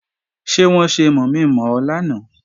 Ṣé wọ́n ṣe mọ̀mi-mọ̀ ọ lánàá?